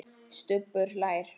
Stubbur hlær.